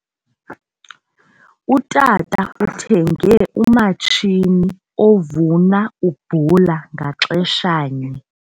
Utata uthenge umatshini ovuna ubhula ngaxeshanye.